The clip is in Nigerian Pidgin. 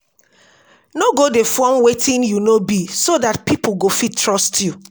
no go dey form wetin you no be so dat pipo go fit trust you